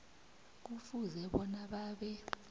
kufuze bona babe